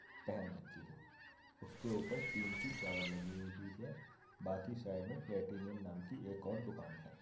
पहन रखी है उसके ऊपर टिन की चादर लगी हुई है बाकी साइड में पलटेनियम नाम की एक और दुकान है।